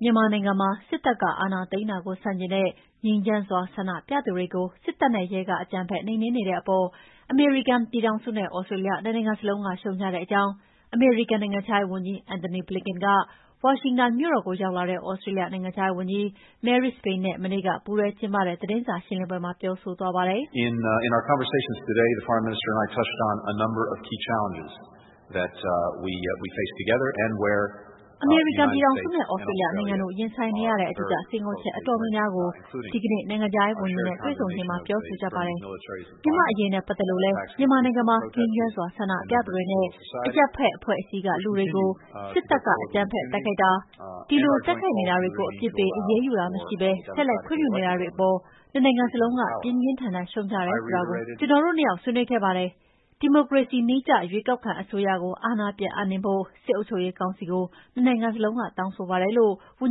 မြန်မာနိုင်ငံမှာ စစ်တပ်ကအာဏာသိမ်းတာကို ဆန့်ကျင်တဲ့ ငြိမ်းချမ်းစွာ ဆန္ဒပြသူတွေကို စစ်တပ်နဲ့ရဲက အကြမ်းဖက်နှိမ်နှင်းနေတဲ့အပေါ် အမေရိကန်ပြည်ထောင်စုနဲ့ သြစတြေးလျ နှစ်နိုင်ငံစလုံးက ရှုတ်ချတဲ့အကြောင်း အမေရိကန်နိုင်ငံခြားရေးဝန်ကြီး Antony Blinken က ဝါရှင်တန်မြို့တော်ကို ရောက်လာတဲ့ သြစတြေးလျနိုင်ငံခြားရေးဝန်ကြီး Marise Payne နဲ့ မနေ့က ပူးတွဲကျင်းပတဲ့ သတင်းစာရှင်းလင်းပွဲမှာ ပြောဆိုသွားပါတယ်။ “အမေရိကန်ပြည်ထောင်စုနဲ့ သြစတြေးလျနိုင်ငံတို့ ရင်ဆိုင်နေရတဲ့ အဓိက စိန်ခေါ်မှုအတော်များများကို ဒီကနေ့ နိုင်ငံခြားရေးဝန်ကြီးနဲ့ တွေ့ဆုံချိန်မှာ ပြောဆိုကြပါတယ်။ မြန်မာ့အရေးနဲ့ပတ်သက်လို့လည်း မြန်မာနိုင်ငံမှာ ငြိမ်းချမ်းစွာ ဆန္ဒပြသူတွေနဲ့ အရပ်ဘက်အဖွဲ့အစည်းက လူတွေကို စစ်တပ်က အကြမ်းဖက်တိုက်ခိုက်တာ၊ ဒီလို တိုက်ခိုက်နေတာတွေကို အပြစ်ပေး အရေးယူတာမရှိဘဲ ဆက်လက်ခွင့်ပြုနေတာတွေအပေါ် နှစ်နိုင်ငံစလုံးက ပြင်းပြင်းထန်ထန် ရှုတ်ချတယ်ဆိုတာလည်း ကျနော်တို့ နှစ်ယောက် ဆွေးနွေးခဲ့ပါတယ်။ ဒီမိုကရေစီနည်းကျ ရွေးကောက်ခံအစိုးရကို အာဏာပြန်ပြီးအပ်နှင်းဖို့ စစ်အုပ်ချုပ်ရေးကောင်စီကို နှစ်နိုင်ငံစလုံးက တောင်းဆိုပါတယ်" လို့ ဝန်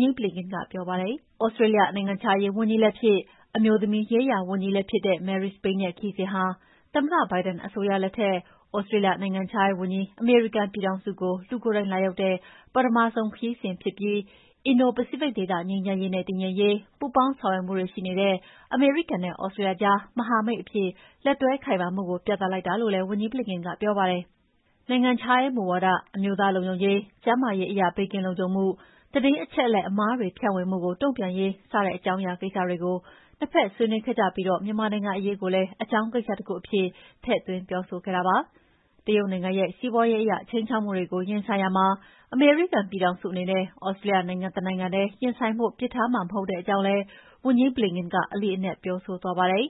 ကြီး Blinken ကပြောပါတယ်။ သြစတြေးလျ နိုင်ငံခြားရေးဝန်ကြီးလည်းဖြစ်၊ အမျိုးသမီးရေးရာဝန်ကြီးလည်းဖြစ်တဲ့ Marise Payne ရဲ့ခရီးစဉ်ဟာ သမ္မတ Biden အစိုးရလက်ထက် သြစတြေးလျ နိုင်ငံခြားရေးဝန်ကြီး အမေရိကန်ပြည်ထောင်စုကို လူကိုယ်တိုင်လာရောက်တဲ့ ပထမဆုံးခရီးစဉ်ဖြစ်ပြီး အင်ဒို ပစိဖိတ်ဒေသ ငြိမ်းချမ်းရေးနဲ့ တည်ငြိမ်ရေး ပူးပေါင်းဆောင်ရွက်မှုတွေရှိနေတဲ့ အမေရိကန်နဲ့ သြစတြေးလျအကြား မဟာမိတ်အဖြစ် လက်တွဲခိုင်မာမှုကို ပြသလိုက်တာလို့လည်း ဝန်ကြီး Blinken ကပြောပါတယ်။ နိုင်ငံခြားရေးမူဝါဒ၊ အမျိုးသားလုံခြုံရေး၊ ကျန်းမာရေးအရ ဘေးကင်းလုံခြုံမှု၊ သတင်းအချက်အလက်အမှားတွေဖြန့်ဝေမှုကို တုံ့ပြန်ရေး စတဲ့ အကြောင်းအရာကိစ္စတွေကို နှစ်ဘက် ဆွေးနွေးခဲ့ကြပြီး မြန်မာနိုင်ငံအရေးကိုလည်း အကြောင်းကိစ္စတခုအဖြစ် ထည့်သွင်းပြောဆိုခဲ့တာဖြစ်ပါတယ်။ တရုတ်နိုင်ငံရဲ့ စီးပွားရေးအရ ခြိမ်းခြောက်မှုတွေကို ရင်ဆိုင်ရာမှာ အမေရိကန်ပြည်ထောင်စုအနေနဲ့ သြစတြေးလျနိုင်ငံ တနိုင်ငံထဲ ရင်ဆိုင်ဖို့ ပစ်ထားမှာ မဟုတ်တဲ့အကြောင်းလည်း ဝန်ကြီး Blinken က အလေးအနက် ပြောဆိုသွားပါတယ်